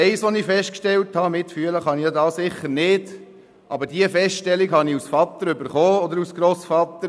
Mitfühlen kann ich hier sicher nicht, aber ich habe als Vater und Grossvater etwas festgestellt: